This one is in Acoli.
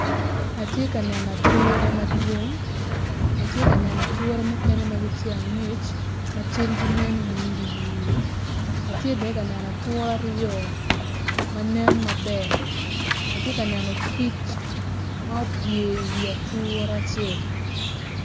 Atye ka neno ature madwong atye ka neno ature mukene magitye angec macalgi nen iri iri atye bene kaneno ature aryo manen maber atye ka neno kic ma opye i wi ature acel.